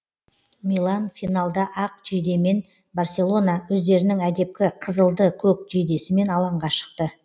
милан финалда ақ жейдемен барселона өздерінің әдепкі қызылды көк жейдесімен алаңға шықты